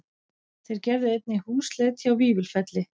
Þeir gerðu einnig húsleit hjá Vífilfelli